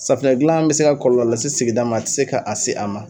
Safunɛ gilan bɛ se ka kɔlɔlɔ lase sigida ma, a ti se k'a se a ma